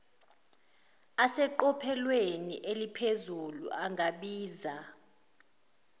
aseqophelweni aliphezulu angabiza